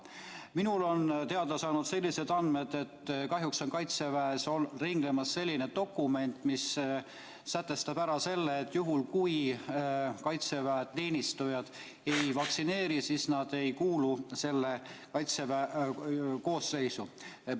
Mulle on teada sellised andmed, et kahjuks on Kaitseväes ringlemas selline dokument, mis sätestab, et juhul kui Kaitseväe teenistujad ei lase end vaktsineerida, siis nad ei kuulu Kaitseväe koosseisu.